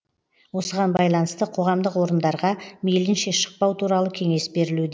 осыған байланысты қоғамдық орындарға мейлінше шықпау туралы кеңес берілуде